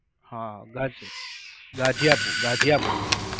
હા ગાજી, ગાજીયાપૂર, ગાજીયાપૂર.